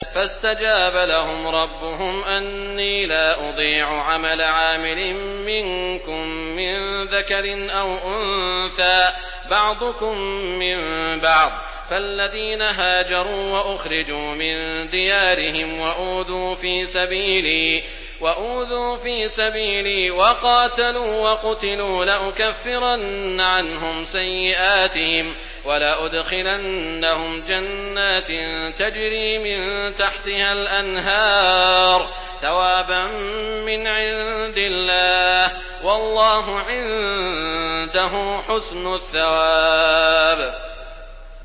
فَاسْتَجَابَ لَهُمْ رَبُّهُمْ أَنِّي لَا أُضِيعُ عَمَلَ عَامِلٍ مِّنكُم مِّن ذَكَرٍ أَوْ أُنثَىٰ ۖ بَعْضُكُم مِّن بَعْضٍ ۖ فَالَّذِينَ هَاجَرُوا وَأُخْرِجُوا مِن دِيَارِهِمْ وَأُوذُوا فِي سَبِيلِي وَقَاتَلُوا وَقُتِلُوا لَأُكَفِّرَنَّ عَنْهُمْ سَيِّئَاتِهِمْ وَلَأُدْخِلَنَّهُمْ جَنَّاتٍ تَجْرِي مِن تَحْتِهَا الْأَنْهَارُ ثَوَابًا مِّنْ عِندِ اللَّهِ ۗ وَاللَّهُ عِندَهُ حُسْنُ الثَّوَابِ